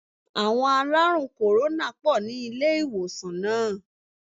Àwon aláàrùn kòrónà pò ní ilé ìwòsàn náà